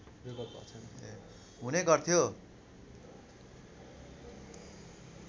हुने गर्थ्यो